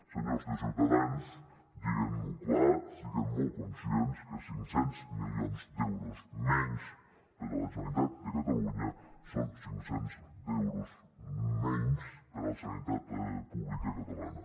senyors de ciutadans dient ho clar siguen molt conscients que cinc cents milions d’euros menys per a la generalitat de catalunya són cinc cents milions d’euros menys per a la sanitat pública catalana